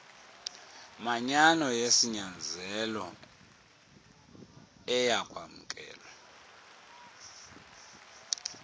manyano yesinyanzelo eyakwamkelwa